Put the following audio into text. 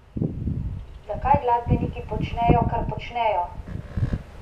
Zakaj glasbeniki počnejo, kar počnejo?